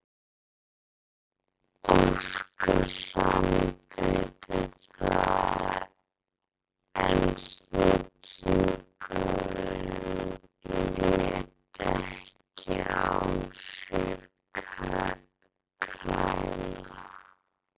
Óskar samþykkti það en silungurinn lét ekki á sér kræla.